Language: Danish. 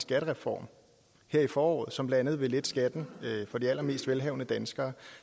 skattereform her i foråret som blandt andet vil lette skatten for de allermest velhavende danskere